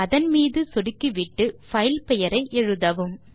அதன் மீது சொடுக்கிவிட்டு பைல் பெயரை எழுதவும்